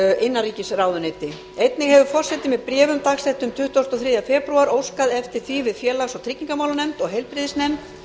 innanríkisráðuneyti einnig hefur forseti með bréfum dagsettum tuttugasta og þriðja febrúar óskað eftir því við félags og tryggingamálanefnd og heilbrigðisnefnd